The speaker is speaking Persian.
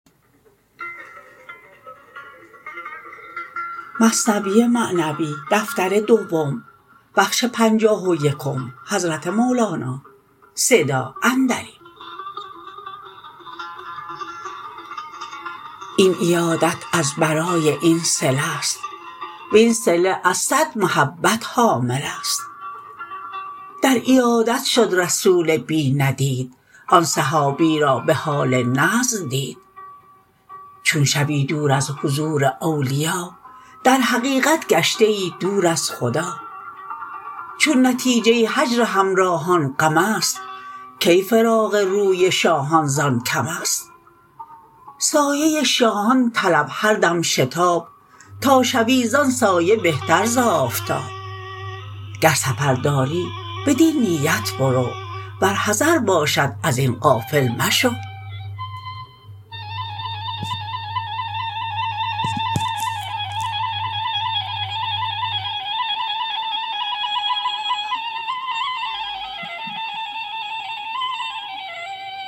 این عیادت از برای این صله ست وین صله از صد محبت حامله ست در عیادت شد رسول بی ندید آن صحابی را بحال نزع دید چون شوی دور از حضور اولیا در حقیقت گشته ای دور از خدا چون نتیجه هجر همراهان غمست کی فراق روی شاهان زان کمست سایه شاهان طلب هر دم شتاب تا شوی زان سایه بهتر ز آفتاب گر سفر داری بدین نیت برو ور حضر باشد ازین غافل مشو